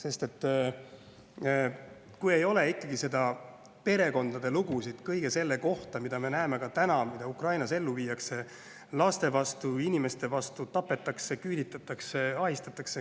Neil ei ole perekondades lugusid kõigest sellest, mida me näeme, et täna Ukrainas ellu viiakse inimeste vastu, ka laste vastu: tapetakse, küüditatakse, ahistatakse.